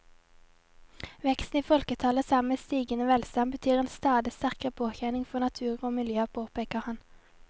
Veksten i folketallet sammen med stigende velstand betyr en stadig sterkere påkjenning for natur og miljø, påpeker han.